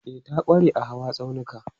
E, ta ƙware a hawa tsaunuka.